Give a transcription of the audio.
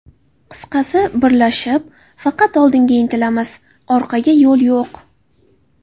Qisqasi, birlashib, faqat oldinga intilamiz, orqaga yo‘l yo‘q.